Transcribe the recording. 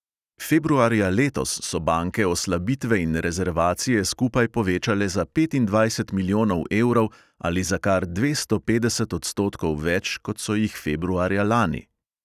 Februarja letos so banke oslabitve in rezervacije skupaj povečale za petindvajset milijonov evrov ali za kar dvesto petdeset odstotkov več, kot so jih februarja lani.